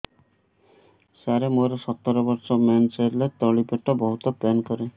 ସାର ମୋର ସତର ବର୍ଷ ମେନ୍ସେସ ହେଲେ ତଳି ପେଟ ବହୁତ ପେନ୍ କରେ